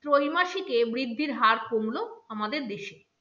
ত্রৈমাসিকে বৃদ্ধির হার কমলো আমাদের দেশে।